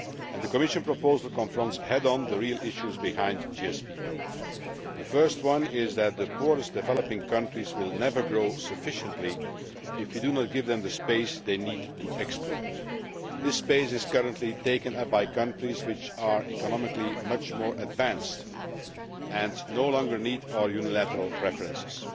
The Commission proposal confronts head on the real issues behind GSP. The first one is that the poorest developing countries will never grow sufficiently if we do not give them the space they need to export. This space is currently taken up by countries which are economically much more advanced and no longer need our unilateral preferences.